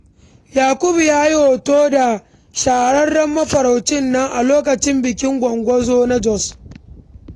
Yakubu ya yi hoto da shahararrun mafarauta a lokacin bikin GwongGwo na Jos.